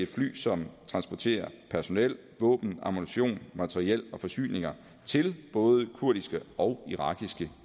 fly som transporterer personel våben ammunition materiel og forsyninger til både kurdiske og irakiske